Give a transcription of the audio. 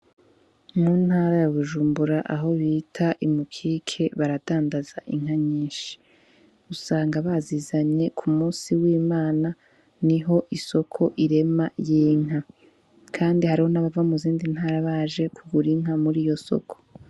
Mu ntara ya Bujumbura aho bita i mukike, baradandaza inka nyinshi usanga bazizanye k'umusi w'Imana, niho isoko irema y'inka kandi hariho abava mu zindi ntara baje kugura inka muriyo soko.